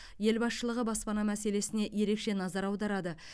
ел басшылығы баспана мәселесіне ерекше назар аударады